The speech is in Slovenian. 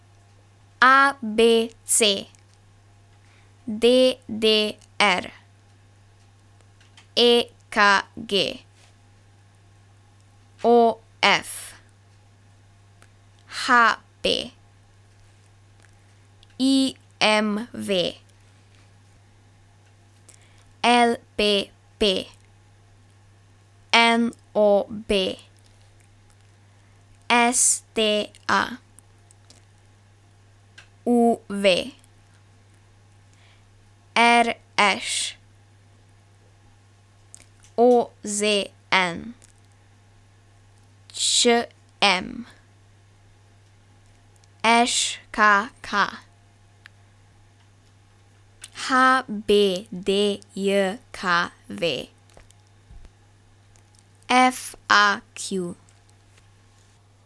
A B C; D D R; E K G; O F; H P; I M V; L P P; N O B; S T A; U V; R Š; O Z N; Č M; Ž K K; H B D J K V; F A Q.